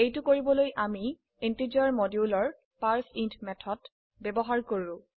এইটো কৰিবলৈ আমি ইন্টিজাৰ মডিউলৰ পাৰ্চেইণ্ট মেথড ব্যবহাৰ কৰো